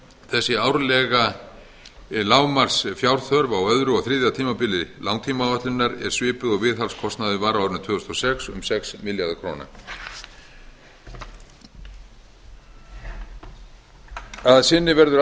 þessi árlega lágmarksfjárþörf á öðru og þriðja tímabili langtímaáætlunar er svipuð og viðhaldskostnaður var á árinu tvö þúsund og sex um sex milljarðar króna að sinni verður